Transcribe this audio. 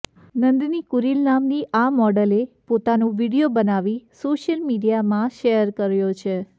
નંદિની કુરીલ નામની આ મોડલે પોતાનો વીડિયો બનાવી સોશિયલ મીડિયામાં શેર કર્યો છે